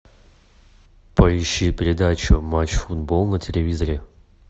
поищи передачу матч футбол на телевизоре